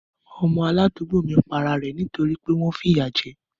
Ọmọ aládùúgbò mi pa ara rẹ̀ nítorí pé wọ́n ń fìyà jẹ ẹ́